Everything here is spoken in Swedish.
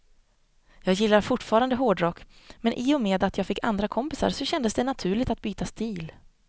Jag gillar fortfarande hårdrock, men i och med att jag fick andra kompisar så kändes det naturligt att byta stil.